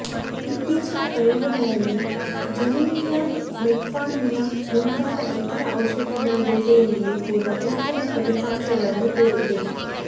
ಇತ್ತೀಚಿನ ಪ್ರಯೋಗಗಳಲ್ಲಿ Januvia metformin ಮುಂತಾದ ಇತರ ಔಷಧಿಗಳ ಜೊತೆಯಲ್ಲಿಯೂ ಕೂಡಾ ಉತ್ತಮ ಫಲಿತಾಂಶಗಳನ್ನು ತೋರಿಸಿದೆ